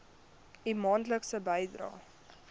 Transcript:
u maandelikse bydraes